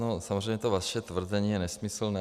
No, samozřejmě to vaše tvrzení je nesmyslné.